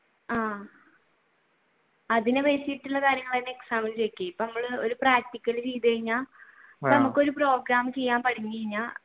ആഹ് അതിനെ base ചെയ്തിട്ടുള്ള കാര്യങ്ങൾ തന്നെ exam ഇൻ ചോയ്ക്കെ ഇപ്പൊ നമ്മൾ ഒരു practical ചെയ്തു കഴിഞ്ഞ ഇപ്പൊ നമ്മൾ ഒരു program ചെയ്യാൻ കഴിഞ്ഞ